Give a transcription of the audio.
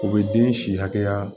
O bɛ den si hakɛya